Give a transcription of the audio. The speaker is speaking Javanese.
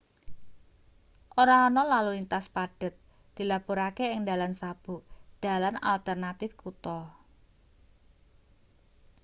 ora ana lalu lintas padhet dilapurake ing dalan sabuk dalan alternatif kutha